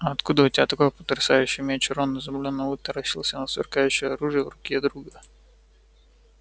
а откуда у тебя такой потрясающий меч рон изумлённо вытаращился на сверкающее оружие в руке друга